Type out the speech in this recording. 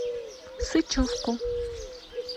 сычевку